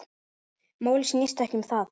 Málið snýst ekki um það.